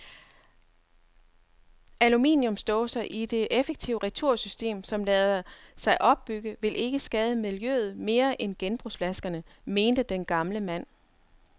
Aluminiumsdåser i det effektive retursystem, som lader sig opbygge, vil ikke skade miljøet mere end genbrugsflaskerne, mente den gamle mand.